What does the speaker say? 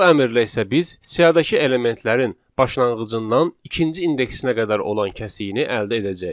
Bu əmrlə isə biz siyahıdakı elementlərin başlanğıcından ikinci indeksinə qədər olan kəsiyini əldə edəcəyik.